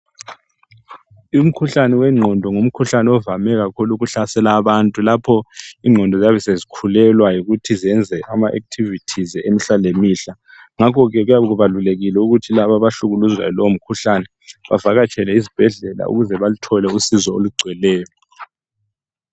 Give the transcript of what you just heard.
Umkhuhlane wengqondo ngumkhuhlane ovame kakhulu ukuhlaselwa abantu, lapho ingqondo ziyabe sezikhulelwa ukuthi zenze ama activities emihla le mihla. Ngakho ke kuyabe kubalulekile ukuba laba abahlukuluzwa yilowo mkhuhlane bavakatshele ezibhedlela ukuze bathole usizo oligcweleyo.